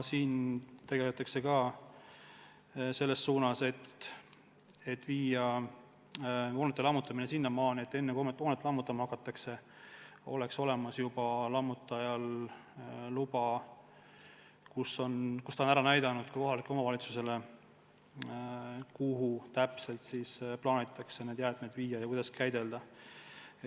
Siin tegutsetakse selles suunas, et viia hoonete lammutamise kord sinnamaani, et enne, kui hoonet lammutama hakatakse, oleks lammutajal luba, kus ta on kohalikule omavalitsusele kirja pannud, kuhu täpselt plaanitakse jäätmed viia ja kuidas käidelda.